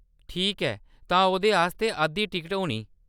ठीक ऐ, तां ओह्‌‌‌‌दे आस्तै अद्धी टिकट होनी।